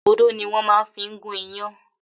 Odó ni wọ́n máa fi ń gún iyán